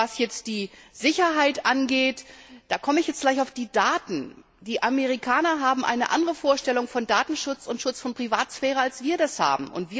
Was die Sicherheit angeht, da komme ich jetzt gleich zu den Daten Die Amerikaner haben eine andere Vorstellung von Datenschutz und Schutz der Privatsphäre, als wir das haben.